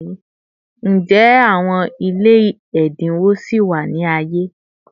Njẹ awọn ile ẹdinwo sì wa ni aye?